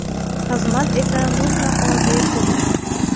Xizmat esa mutlaqo bepul.